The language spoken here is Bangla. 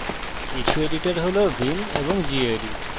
কিছু এডিটর হল vim এবং gedit